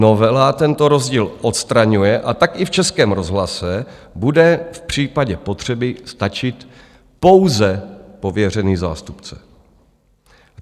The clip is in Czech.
Novela tento rozdíl odstraňuje, a tak i v Českém rozhlase bude v případě potřeby stačit pouze pověřený zástupce.